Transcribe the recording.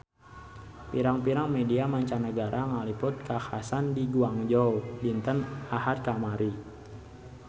Pirang-pirang media mancanagara ngaliput kakhasan di Guangzhou dinten Ahad kamari